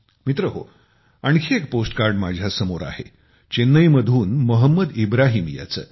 मित्रहो आणखी एक पोस्ट कार्ड माझ्या समोर आहे चेन्नई मधून मोहंमद इब्राहीम याचे